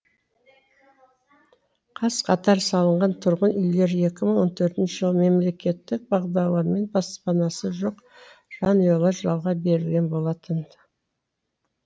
қаз қатар салынған тұрғын үйлер екі мың он төртінші жылы мемлекеттік бағдарламамен баспанасы жоқ жанұялар жалға берілген болатын